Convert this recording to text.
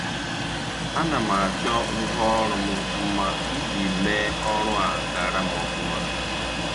A na m achọ ngwa ọrụ m mma iji mee ọrụ a gara m ofuma